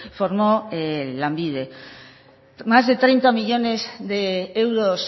formó lanbide más de treinta millónes de euros